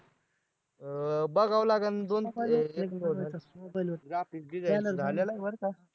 अं बघावं लागल graphic design झालेलं आहे बरं का